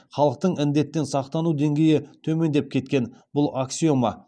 халықтың індеттен сақтану деңгейі төмендеп кеткен бұл аксиома